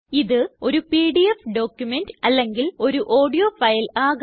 ഇത് ഒരു PDF document അല്ലെങ്കിൽ ഒരു ഓഡിയോ ഫൈൽ ആകാം